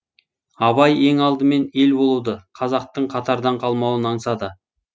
абай ең алдымен ел болуды қазақтың қатардан қалмауын аңсады